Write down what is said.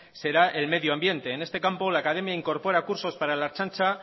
será el medioambiente en este campo la academia incorpora cursos para la ertzantza